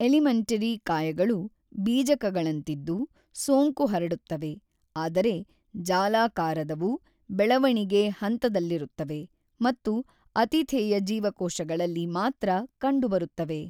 Elementary ಕಾಯಗಳು ಬೀಜಕಗಳಂತಿದ್ದು ಸೋಂಕು ಹರಡುತ್ತವೆ, ಆದರೆ ಜಾಲಾಕಾರದವು ಬೆಳೆವಣಿಗೆ ಹಂತದಲ್ಲಿರುತ್ತವೆ ಮತ್ತು ಅತಿಥೇಯ ಜೀವಕೋಶಗಳಲ್ಲಿ ಮಾತ್ರ ಕಂಡುಬರುತ್ತವೆ.